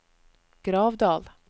Gravdal